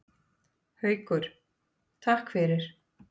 Haukur: Takk fyrir.